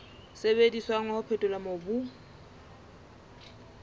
sebediswang wa ho phethola mobu